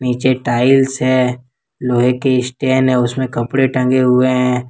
नीचे टाइल्स है लोहे के स्टेन है उसमें कपड़े टंगे हुए है।